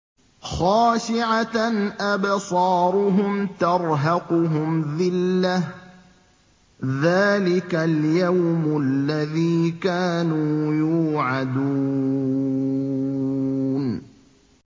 خَاشِعَةً أَبْصَارُهُمْ تَرْهَقُهُمْ ذِلَّةٌ ۚ ذَٰلِكَ الْيَوْمُ الَّذِي كَانُوا يُوعَدُونَ